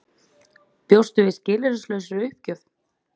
Bjóstu við skilyrðislausri uppgjöf?